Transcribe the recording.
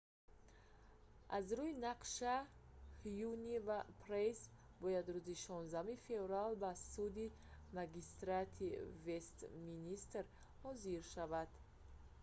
аз рӯи нақша ҳюне ва прайс бояд рӯзи 16 феврал ба суди магистратии вестминстер ҳозир шаванд